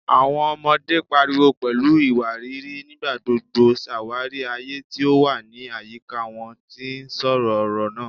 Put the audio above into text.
Awọn ọmọde, pariwo pẹlu iwariiri, nigbagbogbo ṣawari aye ti o wa ni ayika wọn, ti n sọ ọrọ naa